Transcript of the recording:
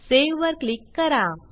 save वर click करा